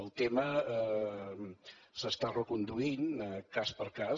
el tema s’està reconduint cas per cas